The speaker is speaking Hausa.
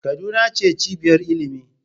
Kaduna ce cibiyar ilimi.